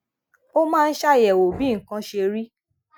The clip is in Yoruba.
ó máa ń ṣàyèwò bí nǹkan ṣe rí